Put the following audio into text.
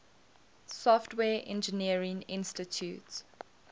software engineering institute